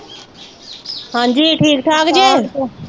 ਹਾਂਜੀ ਠੀਕ ਠਾਕ ਜੇ